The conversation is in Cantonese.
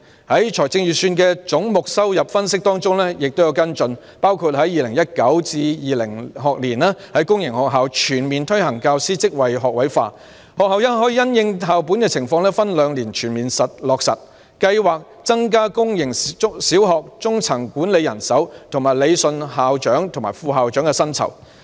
在預算的總目收入分析中也就此作出跟進，包括在 2019-2020 學年在公營學校全面推行教師職位學位化，學校可因應校本情況分兩年全面落實計劃；增加公營小學中層管理人手，以及理順校長和副校長的薪酬。